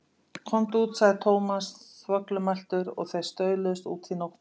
Komdu út sagði Thomas þvoglumæltur og þeir stauluðust út í nóttina.